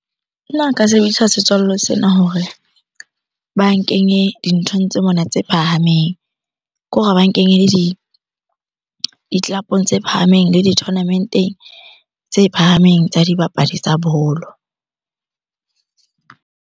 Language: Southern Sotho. Nna nka sebedisa setswalle sena hore ba nkenye dinthong tse mona tse phahameng. Kore ba nkenye le di-club-ong tse phahameng le di tournament-eng tse phahameng tsa dibapadi tsa bolo.